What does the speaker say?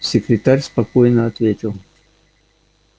секретарь спокойно ответил